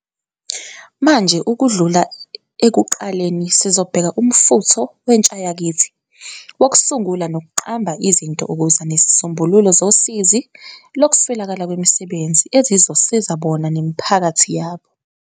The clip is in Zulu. Manje ukudlula ekuqaleni sizobheka umfutho wentshayakithi wokusungula nokuqamba izinto ukuza nezisombululo zosizi lokuswelakala kwemisebenzi ezizosiza bona, nemiphakathi yabo.